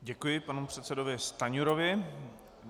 Děkuji panu předsedovi Stanjurovi.